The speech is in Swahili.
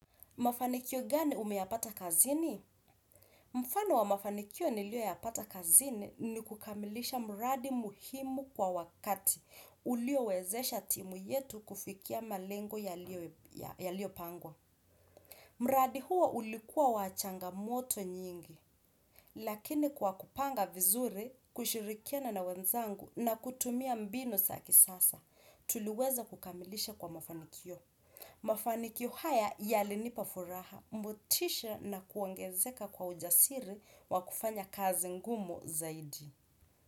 Mafanikio gani umeyapata kazini? Mfano wa mafanikio niliyoyapata kazini ni kukamilisha mradi muhimu kwa wakati uliowezesha timu yetu kufikia malengo yaliyopangwa. Mradi huo ulikuwa wa changamoto nyingi. Lakini kwa kupanga vizuri, kushirikiana na wenzangu na kutumia mbinu za kisasa, tuliweza kukamilisha kwa mafanikio. Mafanikio haya yalinipa furaha, motisha na kuongezeka kwa ujasiri wa kufanya kazi ngumu zaidi.